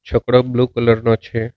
છકડો blue colour નો છે.